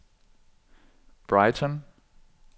Brighton